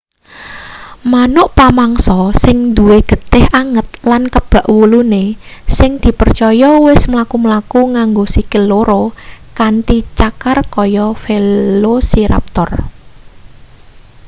manuk pamangsa sing duwe getih anget lan kebak wulune sing dipercaya wis mlaku-mlaku nganggo sikil loro kanthi cakar kaya velociraptor